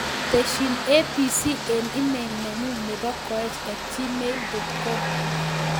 Tesyin abc en email nenyun nepo koech at gmail dot com